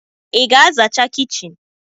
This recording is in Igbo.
Ị ga zachaa kichin?